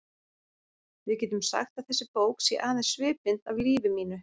Við getum sagt að þessi bók sé aðeins svipmynd af lífi mínu.